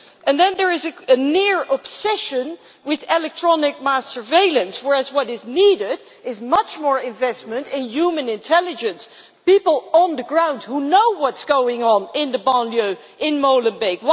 Then there is a near obsession with electronic mass surveillance whereas what is needed is much more investment in human intelligence, in people on the ground who know what is going on in the banlieues and in Molenbeek.